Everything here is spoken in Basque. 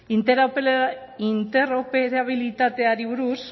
interoperabilitateari buruz